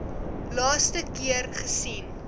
laaste keer gesien